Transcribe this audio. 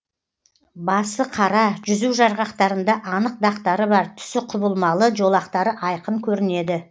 басы қара жүзу жарғақтарында анық дақтары бар түсі құбылмалы жолақтары айқын көрінеді